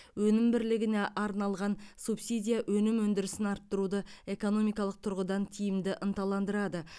өнім бірлігіне арналған субсидия өнім өндірісін арттыруды экономикалық тұрғыдан тиімді ынталандырады